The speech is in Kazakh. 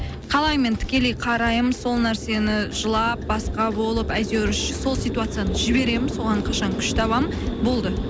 қалай мен тікелей қараймын сол нәрсені жылап басқа болып әйтеуір сол ситуацияны жіберемін соған қашан күш табамын болды